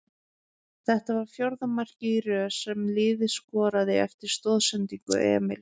Þetta var fjórða markið í röð sem liðið skorar eftir stoðsendingu Emils.